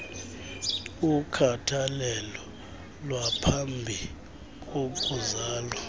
ukhathalelo lwaphambi kokuzala